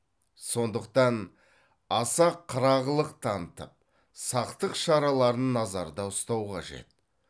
сондықтан аса қырағылық танытып сақтық шараларын назарда ұстау қажет